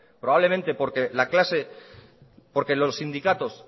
probablemente porque los sindicatos